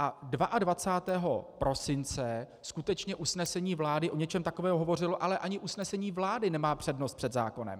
A 22. prosince skutečně usnesení vlády o něčem takovém hovořilo, ale ani usnesení vlády nemá přednost před zákonem.